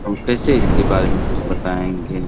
हम कैसे इसके बारे मे कुछ बताएँगे।